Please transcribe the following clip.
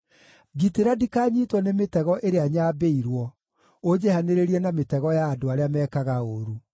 Ngitĩra ndikanyiitwo nĩ mĩtego ĩrĩa nyambĩirwo, ũnjehanĩrĩrie na mĩtego ya andũ arĩa mekaga ũũru.